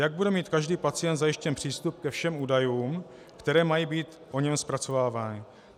Jak bude mít každý pacient zajištěn přístup ke všem údajům, které mají být o něm zpracovávány?